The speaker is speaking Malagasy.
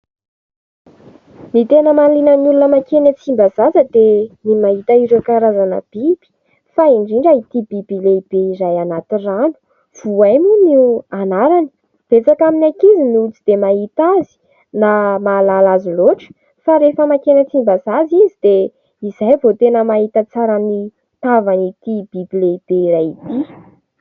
Ny tena mahaliana ny olona mankeny Tsimbazaza dia ny mahita ireo karazana biby fa indrindra itỳ biby lehibe iray anaty rano. Voay moa no anarany. Betsaka amin'ny ankizy no tsy dia mahita azy na mahalala azy loatra fa rehefa mankeny Tsimbazaza izy dia izay vao tena mahita tsara ny tavan'itỳ biby lehibe iray itỳ.